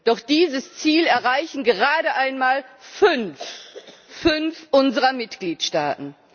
Doch dieses Ziel erreichen gerade einmal fünf unserer Mitgliedstaaten.